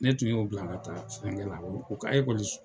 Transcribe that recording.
Ne tun y'o bila ka taa fɛnkɛ la, u ka